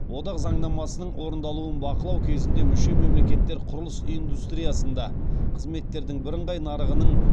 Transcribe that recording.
одақ заңнамасының орындалуын бақылау кезінде мүше мемлекеттер құрылыс индустриясында қызметтердің бірыңғай нарығының